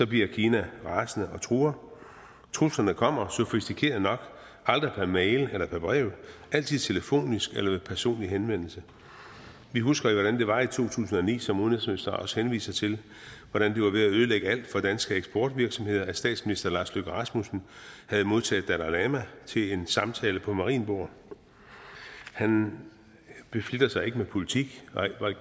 bliver kina rasende og truer truslerne kommer sofistikeret nok aldrig per mail eller per brev altid telefonisk eller ved personlig henvendelse vi husker jo hvordan det var i to tusind og ni som udenrigsministeren også henviser til hvor det var ved at ødelægge alt for danske eksportvirksomheder at statsminister lars løkke rasmussen havde modtaget dalai lama til en samtale på marienborg han beflitter sig ikke med politik